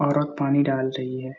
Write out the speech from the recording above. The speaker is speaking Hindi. औरत पानी डाल रही है ।